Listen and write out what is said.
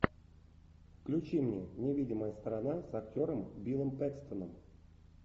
включи мне невидимая сторона с актером биллом пэкстоном